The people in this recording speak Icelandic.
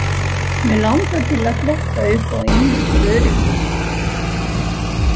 Mig langar til að fletta upp á einu til öryggis.